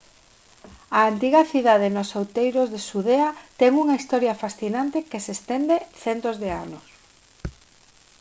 a antiga cidade nos outeiros de xudea ten unha historia fascinante que se estende centos de anos